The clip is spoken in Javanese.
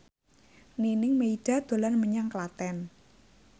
Nining Meida dolan menyang Klaten